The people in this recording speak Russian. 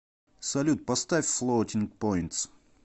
салют поставь флоатинг поинтс